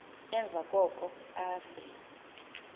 emva koko afe